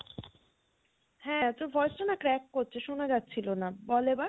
হ্যাঁ তোর voice টা না crack করছে শোনা যাচ্ছিলো, বল এবার